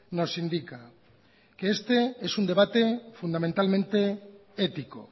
nos indica que este es un debate fundamentalmente ético